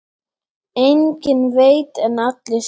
Enginn veit en allir spyrja.